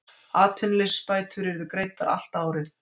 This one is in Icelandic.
Atvinnuleysisbætur yrðu greiddar allt árið